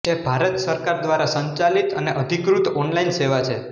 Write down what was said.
તે ભારત સરકાર દ્વારા સંચાલિત અને અધિકૃત ઓનલાઇન સેવા છે